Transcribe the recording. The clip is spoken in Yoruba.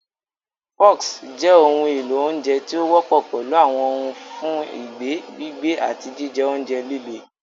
Forks jẹ́ ohun èlò oúnjẹ tí ó wọ́pọ̀ pẹ̀lú àwọn ohùn fún ìgbẹ́, gbígbé, àti jíjẹ oúnjẹ líle.